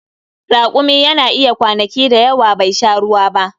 Rakumi yana iya kwanaki da yawa bai sha ruwa ba.